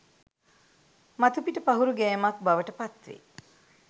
මතුපිට පහුරු ගෑමක් බවට පත් වේ